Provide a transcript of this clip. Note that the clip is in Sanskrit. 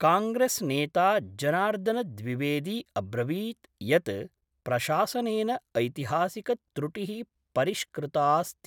कांग्रेसनेता जनार्दनद्विवेदी अब्रवीत् यत् प्रशासनेन ऐतिहासिकत्रुटि: परिष्कृताऽस्ति।